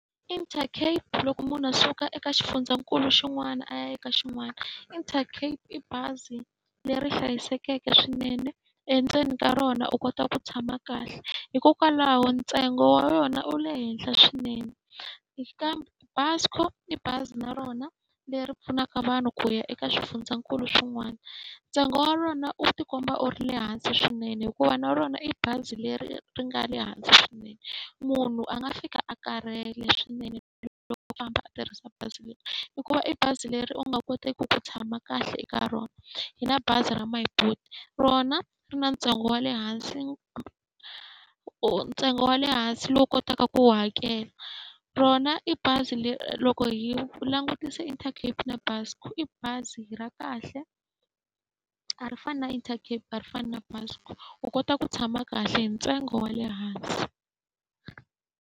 Intercape loko munhu a suka eka xifundzankulu xin'wana a ya eka xin'wana, Intercape i bazi leri hlayisekeke swinene. Endzeni ka rona u kota ku tshama kahle, hikokwalaho ntsengo wa yona wu le henhla swinene. Kambe Buscor i bazi na rona leri pfunaka vanhu ku ya eka swifundzakulu swin'wana, ntsengo wa rona wu tikuma wu ri le hansi swinene hikuva na rona i bazi leri nga le hansi swinene. Munhu a nga fika a karhele swinene loko u famba a tirhisa bazi leri, hikuva i bazi leri u nga koteki ku tshama kahle eka rona. Hi na bazi ra My Boet, rona ri na ntsengo wa le hansi ntsengo wa le hansi lowu u kotaka ku wu hakela. Rona i bazi leri loko hi langutise Intercape na Buscor, i bazi ra kahle a ri fani na Intercape a ri fani na Buscor. U kota ku tshama kahle hi ntsengo wa le hansi.